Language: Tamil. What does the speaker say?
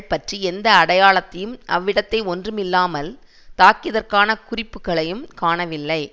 பற்றி எந்த அடையாளத்தையும் அவ்விடத்தை ஒன்றுமில்லாமல் தாக்கியதற்கான குறிப்புக்களையும் காணவில்லை